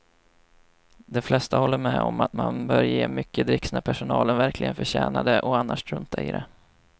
De flesta håller med om att man bör ge mycket dricks när personalen verkligen förtjänar det och annars strunta i det.